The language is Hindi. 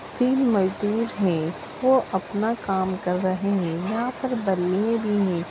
तीन मजदूर हैं। वो अपना काम कर रहे हैं। यहाँ पर बनिये भी हैं।